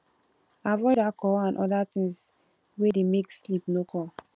avoid alcohol and oda things wey dey make sleep no come